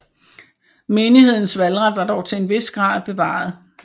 Menighedens valgret var dog til en vis grad bevaret